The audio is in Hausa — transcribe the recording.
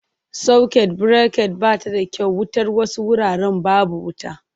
Sakwut birekat ba ta da kyau wutar wasu wuraren babu wuta.